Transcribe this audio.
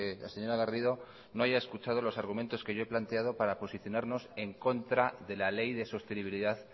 la señora garrido no haya escuchado los argumentos que yo he planteado para posicionarnos en contra de la ley de sostenibilidad